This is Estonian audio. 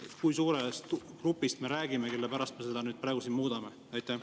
Kui suurest grupist me räägime, kelle pärast me seda praegu muudame?